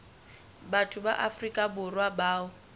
batho ba afrika borwa bao